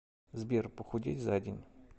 сбер похудеть за день